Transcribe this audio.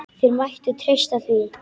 Þeir mættu treysta því.